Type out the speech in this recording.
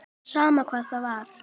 Sama hvað það var.